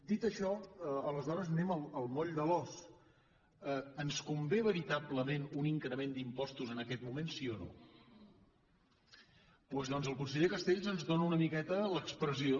dit això aleshores anem al moll de l’os ens convé veritablement un increment d’impostos en aquest moment sí o no doncs el conseller castells ens dóna una miqueta l’expressió